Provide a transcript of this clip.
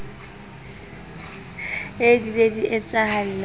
ee di ne di etsahalla